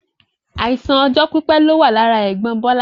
Àìsàn ọjọ́ pípé ni ó wà lára ẹ̀gbọ́n Bola